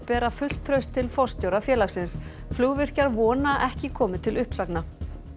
bera fullt traust til forstjóra félagsins flugvirkjar vona að ekki komi til uppsagna